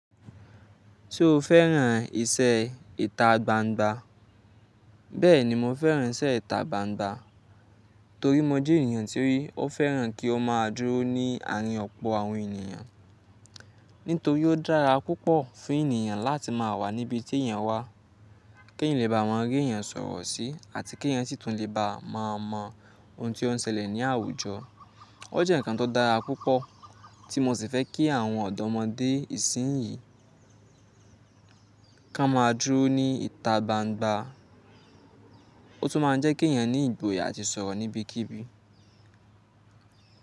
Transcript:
Ṣo fẹ́ràn ìṣe ìta gbangba? Bẹ́ẹ̀ni, mo fẹ́ràn iṣẹ́ ìta gbangba torí mo jẹ́ ènìyàn tí ó fẹ́ràn kí ó má a dúró ní àárín ọ̀pọ̀ àwọn ènìyàn. Nítorí ó dára púpọ̀ fún ènìyàn láti má a wà níbi tí èèyàn wà, kí èyàn lè bá ma rí èèyàn sọ̀rọ̀ sí àti kí èèyàn sì tún lè bá ma mọ ohun tí ó ń ṣẹlẹ̀ ní àwùjọ. Ó jẹ́ ǹkan tó dára púpọ̀ tí mo sì fẹ́ kí àwọn ọ̀dọ́mọdé ìsìnyín ká má a dúró ní ìta gbangba. Ó tún máa ń jẹ́ kí èèyàn ní ìgboyà àti sọ̀rọ̀ níbikíbi.